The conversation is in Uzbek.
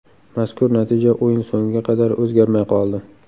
Mazkur natija o‘yin so‘ngiga qadar o‘zgarmay qoldi.